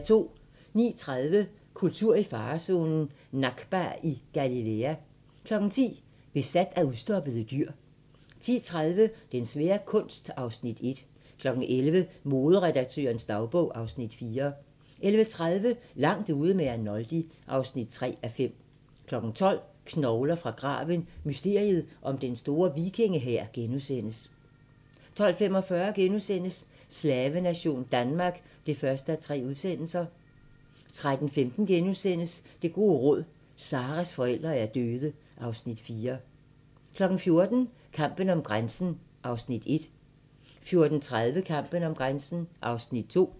09:30: Kultur i farezonen – Nakba i Galilæa 10:00: Besat af udstoppede dyr 10:30: Den svære kunst (Afs. 1) 11:00: Moderedaktørens dagbog (Afs. 4) 11:30: Langt ude med Arnoldi (3:5) 12:00: Knogler fra graven – mysteriet om Den Store Vikingehær * 12:45: Slavenation Danmark (1:3)* 13:15: Det gode råd: Zahras forældre er døde (Afs. 4)* 14:00: Kampen om grænsen (1:4) 14:30: Kampen om grænsen (2:4)